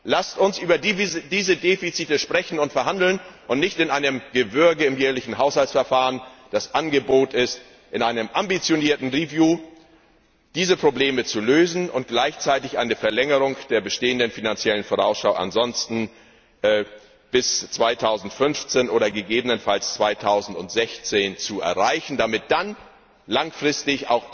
Rat Lasst uns über diese Defizite sprechen und verhandeln, und zwar nicht in einem Gewürge im jährlichen Haushaltsverfahren. Das Angebot ist, in einem ambitionierten Review diese Probleme zu lösen und gleichzeitig eine Verlängerung der bestehenden Finanziellen Vorausschau bis 2015 oder gegebenenfalls 2016 zu erreichen, damit dann langfristig